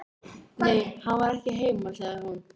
Nei, hann var ekki heima, sagði hún.